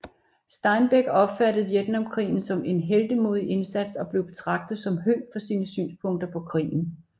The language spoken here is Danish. Steinbeck opfattede Vietnamkrigen som en heltemodig indsats og blev betragtet som høg for sine synspunkter på krigen